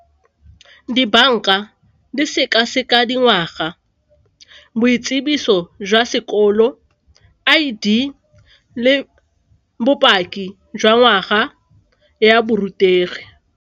Dibanka di seka-seka dingwaga, boitsibiso jwa sekolo, I_D le bopaki jwa ngwaga ya borutegi.